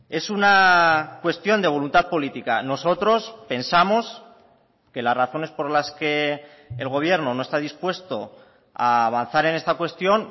es una cuestión de voluntad política nosotros pensamos que las razones por las que el gobierno no está dispuesto a avanzar en esta cuestión